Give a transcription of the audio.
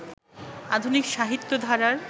আধুনিক সাহিত্য ধারার